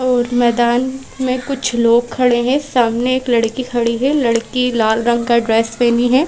और मैदान में कुछ लोग खड़े हैं सामने एक लड़की खड़ी है लड़की लाल रंग का ड्रेस पहनी है।